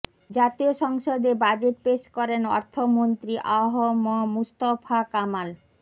জাতীয় সংসদে বাজেট পেশ করেন অর্থমন্ত্রী আ হ ম মুস্তফা কামাল